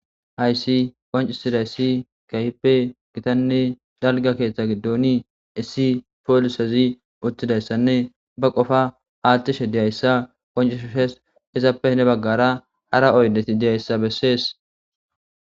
haysi qoncisiday issi keehippe gitanne dalga keeththa giddoni issi poolsezi uttidayssanne ba qofa aathtishe diyayssa qoncishu shes izappe ne baggara ara oyleti diyayssa bessees